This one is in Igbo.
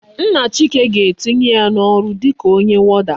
Nna chike ga etinye ya na oru dika onye warder